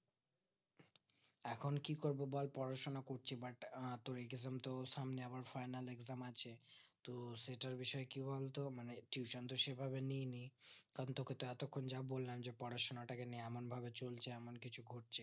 এখন কি করবো বল পড়াশোনা করছি but তোর exam তো সামনে আবার final exam আছে তো সেটার বিষয়ে কি বলতো মানে tuition তো সেভাবে নেয়নি কারণ তোকে তো বলাম পড়াশোনাটাকে নিয়ে এমন ভাবে চলছে এমন কিছু ঘটছে